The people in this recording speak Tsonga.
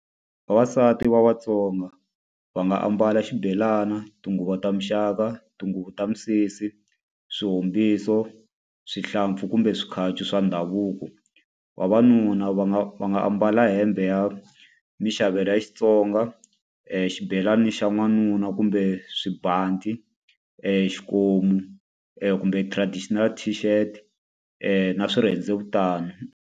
Vavasati va vaTsonga va nga ambala xibelana, tinguva ta muxaka, tinguvu ta misisi, swihombiso, swihlampfi kumbe swikhacu swa ndhavuko. Vavanuna va nga va nga ambala hembe ya maxavelo leyi ya Xitsonga, xibelani xa n'wanuna kumbe swibanti, xikomu kumbe traditional t-shift na swirhendzevutana.